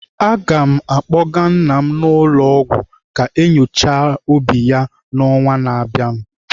Aga m akpọga nna m ụlọ ọgwụ ka enyochaa obi ya n'ọnwa na abịanụ.